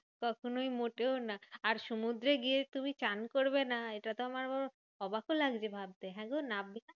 কখনোই মোটেও না। আর সমুদ্রে গিয়ে তুমি চান করবে না এটা তো আমার আবার অবাকও লাগছে ভাবতে হ্যাগো নাব্বে না?